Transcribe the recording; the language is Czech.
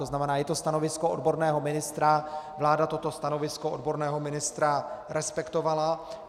To znamená, je to stanovisko odborného ministra, vláda toto stanovisko odborného ministra respektovala.